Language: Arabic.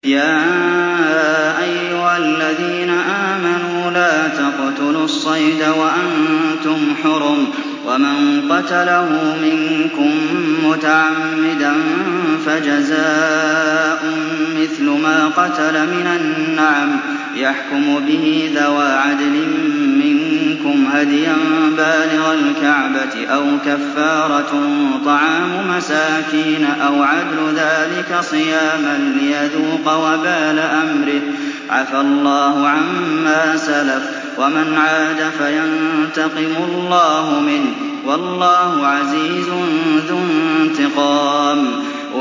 يَا أَيُّهَا الَّذِينَ آمَنُوا لَا تَقْتُلُوا الصَّيْدَ وَأَنتُمْ حُرُمٌ ۚ وَمَن قَتَلَهُ مِنكُم مُّتَعَمِّدًا فَجَزَاءٌ مِّثْلُ مَا قَتَلَ مِنَ النَّعَمِ يَحْكُمُ بِهِ ذَوَا عَدْلٍ مِّنكُمْ هَدْيًا بَالِغَ الْكَعْبَةِ أَوْ كَفَّارَةٌ طَعَامُ مَسَاكِينَ أَوْ عَدْلُ ذَٰلِكَ صِيَامًا لِّيَذُوقَ وَبَالَ أَمْرِهِ ۗ عَفَا اللَّهُ عَمَّا سَلَفَ ۚ وَمَنْ عَادَ فَيَنتَقِمُ اللَّهُ مِنْهُ ۗ وَاللَّهُ عَزِيزٌ ذُو انتِقَامٍ